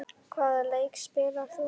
Hvaða leik spilar þú?